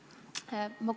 Suur tänu!